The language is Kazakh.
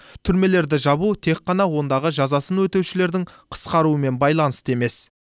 түрмелерді жабу тек қана ондағы жазасын өтеушілердің қысқаруымен байланысты емес